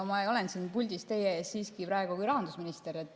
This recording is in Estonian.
No ma olen praegu siin puldis teie ees siiski kui rahandusminister.